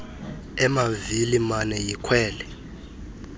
emavili mane yikhwele